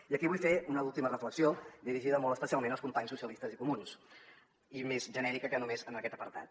i aquí vull fer una última reflexió dirigida molt especialment als companys socialistes i comuns i més genèrica que només en aquest apartat